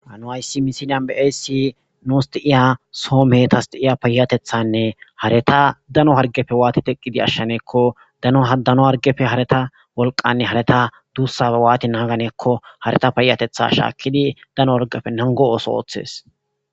Ha nu ayssi misinyan be ayssi nuus di'iya soo metas di'iya payatethanne hareta dano hargefe waati teqqidi ashshaneekko dano hadano hargefe hareta wolqanne hareta duussabe waati naaganeekko hareta payatetha shaakkidi dano argefe nango ooso ooththees